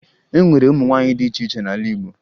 E nwere ụmụ nwaanyị dị iche iche n'ala Igbo